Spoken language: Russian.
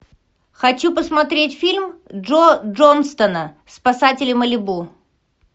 хочу посмотреть фильм джо джонстона спасатели малибу